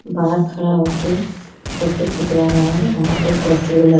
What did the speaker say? बाहर खड़ा होके फोटो खिंचवा रहा है वहां पर पोस्टर लगा--